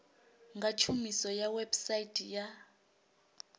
nga tshumiso ya website ya